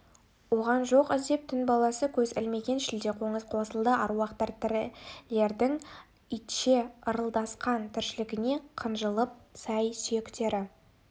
оған жоқ іздеп түн баласы көз ілмеген шілдеқоңыз қосылды аруақтар тірілердің итше ырылдасқан тіршілігіне қынжылып сай-сүйектері